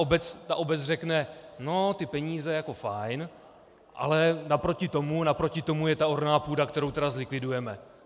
Obec řekne, no, ty peníze jako fajn, ale naproti tomu je ta orná půda, kterou tedy zlikvidujeme.